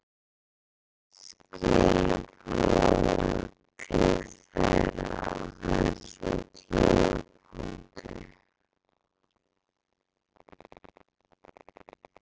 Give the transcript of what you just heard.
Skilaboð til þeirra á þessum tímapunkti?